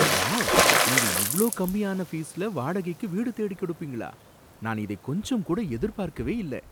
Wow! நீங்க இவ்ளோ கம்மியான ஃபீஸ்ல வாடகைக்கு வீடு தேடிக் கொடுப்பீங்களா! நான் இதை கொஞ்சம் கூட எதிர்பார்க்கவே இல்ல.